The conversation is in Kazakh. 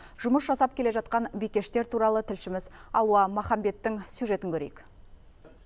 жұмыс жасап келе жатқан бикештер туралы тілшіміз алуа махамбеттің сюжетін көрейік